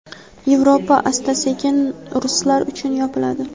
Yevropa asta-sekin ruslar uchun yopiladi.